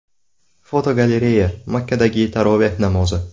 Fotogalereya: Makkadagi taroveh namozi.